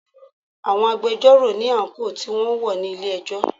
Àwọn agbẹjọ́rò ní àńkò tí wọn ń wọ̀ ní ilé ẹjọ́.